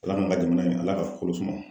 ALA k'an ka jamana in ALA ka kolo suma.